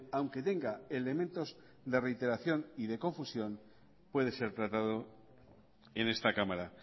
aunque tenga elementos de reiteración y de confusión puede ser tratado en esta cámara